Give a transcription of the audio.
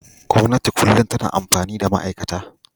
Gwamnati kullum tana amfani da ma'aikata.